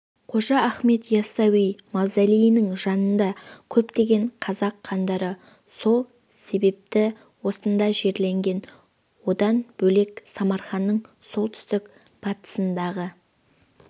қожа ахмет яссауи мавзолейінің жанында көптеген қазақ хандары сол себепті осында жерленген одан бөлек самарқанның солтүстік-батысындағы